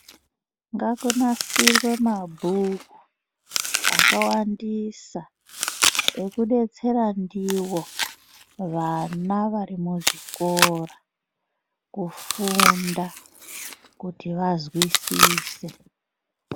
Ngakunasirwe mabhuku akawandisa ekudetsera ndiwo vana vari muzvikora kufunda, kuti vazwisise.